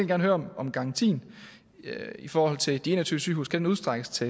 gerne høre om garantien i forhold til de en og tyve sygehuse kan udstrækkes til